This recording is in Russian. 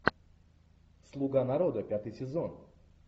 слуга народа пятый сезон